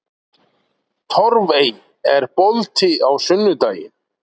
Torfey, er bolti á sunnudaginn?